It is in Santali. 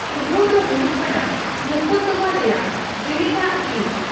ᱩᱰᱷᱟᱹᱣ ᱫᱚ ᱦᱩᱭᱩᱜ ᱠᱟᱱᱟ ᱢᱳᱠᱫᱚᱢᱟ ᱨᱮᱭᱟᱜ ᱡᱮᱞᱮᱧᱟᱜ ᱦᱤᱸᱥ ᱾